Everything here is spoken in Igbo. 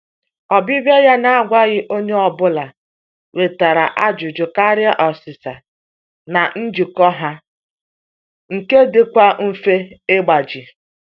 Ọbịbịa ya na-agwaghị onye ọbụla wetara ajụjụ karịa ọsịsa na njikọ ha nke dịkwa mfe ịgbaji.